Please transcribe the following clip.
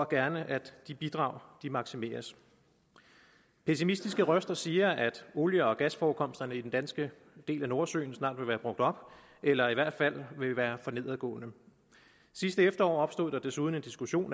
gerne at de bidrag maksimeres pessimistiske røster siger at olie og gasforekomsterne i den danske del af nordsøen snart vil være brugt op eller i hvert fald vil være for nedadgående sidste efterår opstod der desuden en diskussion